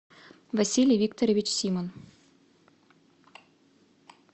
василий викторович симон